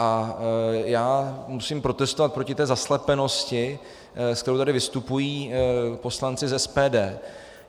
A já musím protestovat proti té zaslepenosti, se kterou tady vystupují poslanci z SPD.